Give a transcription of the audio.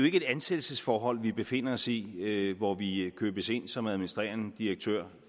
ikke et ansættelsesforhold vi befinder os i hvor vi købes ind som administrerende direktører